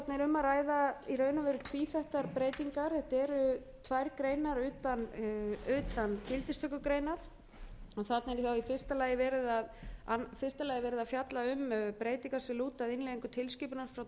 um að ræða í raun og veru tvíþættar breytingar þetta eru tvær greinar utan gildistökugreinar þarna er þá í fyrsta lagi verið að fjalla um breytingar sem lúta að innleiðingu tilskipunar frá tvö þúsund og